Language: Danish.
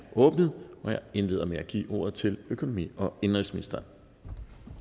åbnet jeg indleder med at give ordet til økonomi og indenrigsministeren